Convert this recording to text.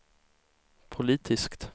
politiskt